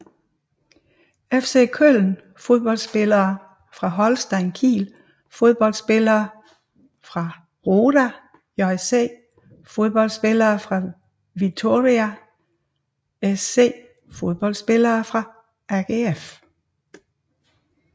FC Köln Fodboldspillere fra Holstein Kiel Fodboldspillere fra Roda JC Fodboldspillere fra Vitória SC Fodboldspillere fra AGF